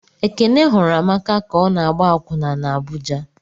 Ekene hụrụ Amaka ka ọ na-agba akwụna n' Abuja.